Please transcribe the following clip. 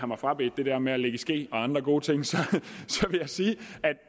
mig frabedt det der med at ligge i ske og andre gode ting vil jeg sige